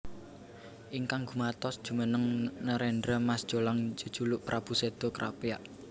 Ingkang gumatos jumeneng nerendra Mas Jolang jejuluk Prabu Seda Krapyak